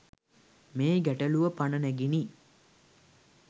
මේ ගැටලුව පන නැගිණි.